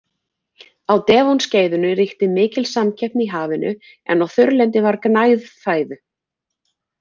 Á Devon-skeiðinu ríkti mikil samkeppni í hafinu en á þurrlendi var gnægð fæðu.